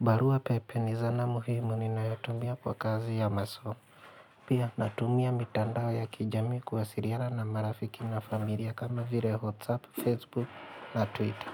Barua pepe ni zana muhimu ni nayotumia kwa kazi ya masomi. Pia natumia mitandao ya kijamii kuwasiliana na marafiki na familia kama vile WhatsApp, Facebook na Twitter.